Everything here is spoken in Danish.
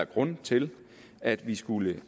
grund til at vi skulle